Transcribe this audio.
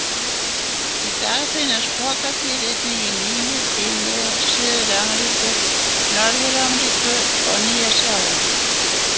Í dag finnast pokadýr einnig í Nýju-Gíneu, Suður-Ameríku, Norður-Ameríku og Nýja-Sjálandi.